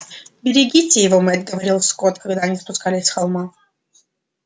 берегите его мэтт говорил скотт когда они спускались с холма